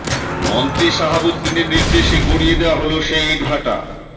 মন্ত্রী শাহাব উদ্দিনের নির্দেশে গুঁড়িয়ে দেওয়া হলো সেই ইটভাটা